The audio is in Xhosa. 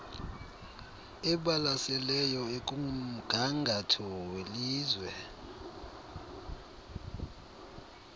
ebalaseleyo ekumgangatho welizwe